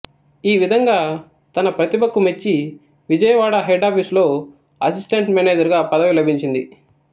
ఈ విధంగా తన ప్రతిభకు మెచ్చి విజయవాడ హెడ్ ఆపీసులో అసిస్టెంటు మానేజరుగా పదవి లబించింది